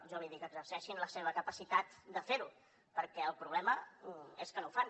jo li dic exerceixin la seva capacitat de ferho perquè el problema és que no ho fan